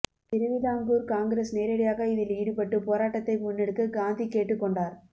திருவிதாங்கூர் காங்கிரஸ் நேரடியாக இதில் ஈடுபட்டு போராட்டத்தை முன்னெடுக்க காந்தி கேட்டுக்கொண்டார்